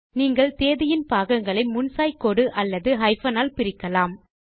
நீங்கள் தேதியின் பாகங்களை முன் சாய் கோடு அல்லது ஹைபன் ஆல் பிரிக்கலாம்